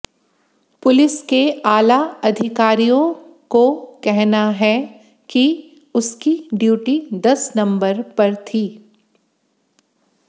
police के आला अधिकारियों को कहना है कि उसकी ड्यूटी दस नंबर पर थी